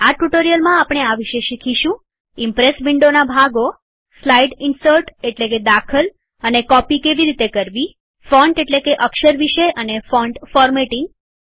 આ ટ્યુટોરીયલમાં આપણે આ વિશે શીખીશું ઈમ્પ્રેસ વિન્ડોના ભાગોસ્લાઈડ ઇન્સર્ટ એટલેકે દાખલ અને કોપી કેવી રીતે કરવીફોન્ટ એટલેકે અક્ષર વિશે અને ફોન્ટ ફોર્મેટિંગ